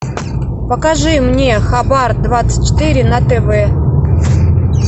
покажи мне хабар двадцать четыре на тв